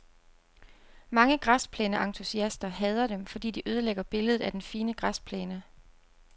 Mange græsplæneentusiaster hader dem, fordi de ødelægger billedet af den fine græsplæne.